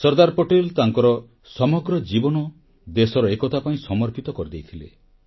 ସର୍ଦ୍ଦାର ପଟେଲ ତାଙ୍କର ସମଗ୍ର ଜୀବନ ଦେଶର ଏକତା ପାଇଁ ସମର୍ପିତ କରିଦେଇଥିଲେ